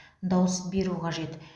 дауыс беру қажет